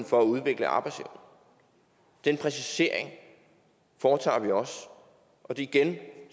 for at udvikle arbejdsevnen den præcisering foretager vi også og igen vil